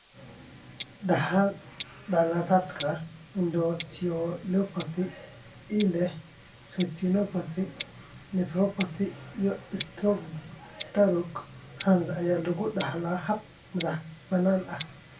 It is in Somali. Dhaxal-dhalatada endoteliopathy ee leh retinopathy, nephropathy, iyo istaroog (HERNS) ayaa lagu dhaxlaa hab madax-bannaani ah.